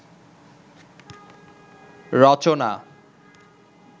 রচনা